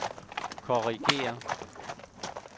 korrigér